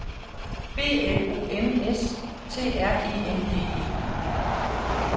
B L O M S T R E N D E